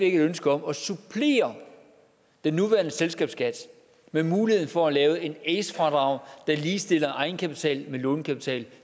ønske om at supplere den nuværende selskabsskat med muligheden for at lave et ace fradrag der ligestiller egenkapital med lånekapital